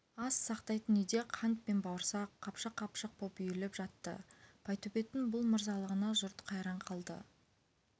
ас сақтайтын үйде қант пен бауырсақ қапшық-қапшық боп үйіліп жатты байтөбеттің бұл мырзалығына жұрт қайран қалды